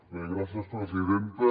bé gràcies presidenta